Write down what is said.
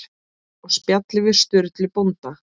Og spjalli við Sturlu bónda.